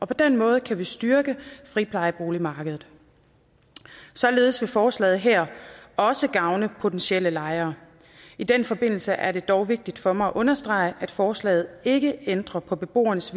på den måde kan vi styrke friplejeboligmarkedet og således vil forslaget her også gavne potentielle lejere i den forbindelse er det dog vigtigt for mig at understrege at forslaget ikke ændrer på beboernes